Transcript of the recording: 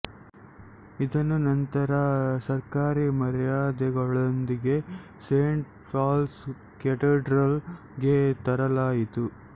ಇದನ್ನು ನಂತರ ಸರ್ಕಾರಿ ಮರ್ಯಾದೆಗಳೊಂದಿಗೆ ಸೇಂಟ್ ಪಾಲ್ಸ್ ಕ್ಯಾಥೆಡ್ರಲ್ ಗೆ ತರಲಾಯಿತು